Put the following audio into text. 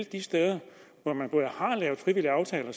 de steder hvor man har lavet frivillige aftaler